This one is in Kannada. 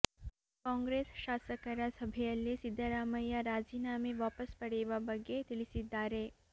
ಕಾಂಗ್ರೆಸ್ ಶಾಸಕರ ಸಭೆಯಲ್ಲಿ ಸಿದ್ದರಾಮಯ್ಯ ರಾಜೀನಾಮೆ ವಾಪಸ್ ಪಡೆಯುವ ಬಗ್ಗೆ ತಿಳಿಸಿದ್ದಾರೆ